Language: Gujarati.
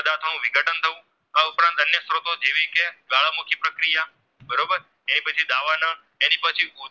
એની પછી